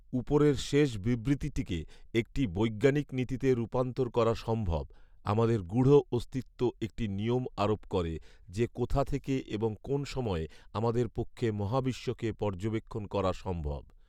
উপরের শেষ বিবৃতিটিকে একটি বৈজ্ঞানিক নীতিতে রূপান্তর করা সম্ভব, আমাদের গূঢ় অস্তিত্ব একটি নিয়ম আরোপ করে, যে কোথা থেকে এবং কোন সময়ে আমাদের পক্ষে মহাবিশ্বকে পর্যবেক্ষণ করা সম্ভব